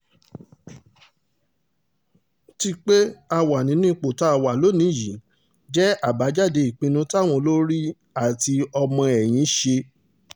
ti pé a wà nírú ipò tá a wà lónìí yìí jẹ́ àbájáde ìpinnu táwọn olórí àti ọmọ-ẹ̀yìn ṣe